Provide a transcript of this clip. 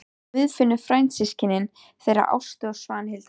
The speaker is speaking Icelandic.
Guðfinna frændsystkin þeirra Ástu og Svanhildar.